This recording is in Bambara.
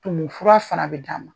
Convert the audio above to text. Tumu fura fana bɛ d'a ma.